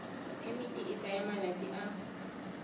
phemiti e tsaya malatsi a